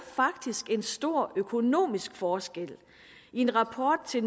faktisk en stor økonomisk forskel i en rapport til